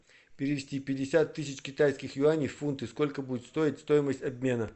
перевести пятьдесят тысяч китайских юаней в фунты сколько будет стоить стоимость обмена